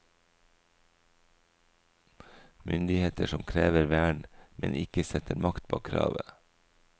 Myndigheter som krever vern, men ikke setter makt bak kravet.